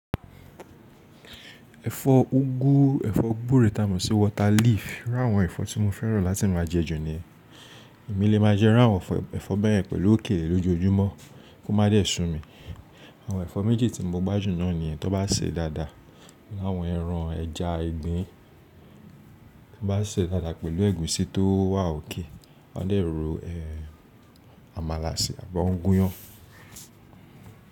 Ẹ̀fọ́ úgú, ẹ̀fọ́ gbúre ta mọ̀ sí water leaf iru àwọn ẹ̀fọ́ tí mo fẹ́ràn láti máa jẹ ju niyen Èmi lè máa jẹ iru àwọn ẹ̀fọ́ bẹ́ẹ̀ pẹ̀lú òkèlè lójoójúmọ́ kó má dẹ su mi. Àwọn ẹ̀fọ́ méjì tí mo gbájú náà ni yẹn tó bá sè dáadáa, pelu áwọn ẹran ẹja, ìgbín, tó bá sè dáadáa pẹ̀lú ẹ̀gúsí tó wà okay, wọ́n dẹ ro ẹ amala si àbí wón gúnyán.